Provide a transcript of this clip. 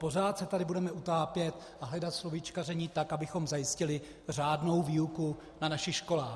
Pořád se tady budeme utápět a hledat slovíčkaření tak, abychom zajistili řádnou výuku na našich školách.